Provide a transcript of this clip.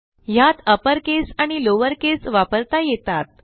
ह्यात अपरकेस आणि लॉवरकेस वापरता येतात